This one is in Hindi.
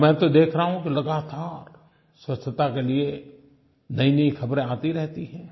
और मैं तो देख रहा हूँ कि लगातार स्वच्छता के लिये नईनई ख़बरें आती रहती हैं